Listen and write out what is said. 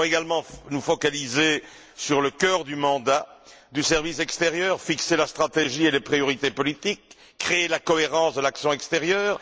Nous devons également nous focaliser sur le cœur du mandat du service extérieur, fixer la stratégie et les priorités politiques, créer la cohérence de l'action extérieure.